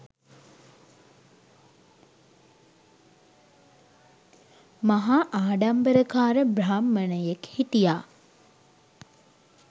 මහා ආඩම්බරකාර බ්‍රාහ්මණයෙක් හිටියා.